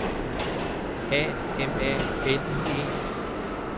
A M A L I E